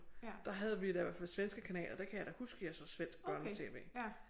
Der havde vi da i hvert fald svenske kanaler der kan jeg da huske jeg så svensk børne-tv